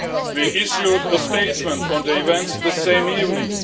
We issued a statement on the events the same evening.